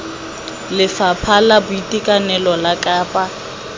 lefapha la boitekanelo la kapa